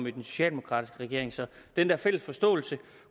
i den socialdemokratiske regering så den der fælles forståelse